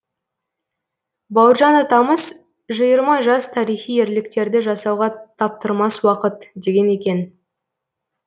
бауыржан атамыз жиырма жас тарихи ерліктерді жасауға таптырмас уақыт деген екен